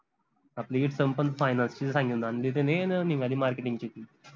आपली पन finance ची सांगून आनली त्यांनी न निघाली marketing ची ती